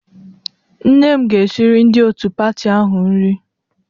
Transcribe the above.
Nne m ga-esiri ndị otu pati ahụ nri